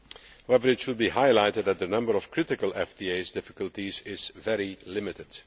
However, it should be highlighted that the number of critical FTA difficulties is very limited.